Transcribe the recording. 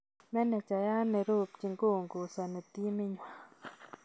Manejaiyaat ne rubchin koongozani timit nywaa